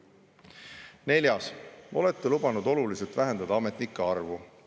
Neljas: "Olete lubanud oluliselt vähendada ametnike arvu.